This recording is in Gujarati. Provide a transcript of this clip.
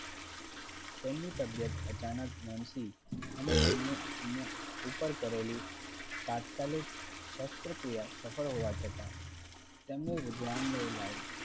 તેમની તબિયત અચાનક મણસી અને તેમની ઉપ ઉપર કરેલી તાત્કાલિક શાસ્ત્રક્રિયા સફળ હોવા છતાં તેમને રૂબનાલય લાવી.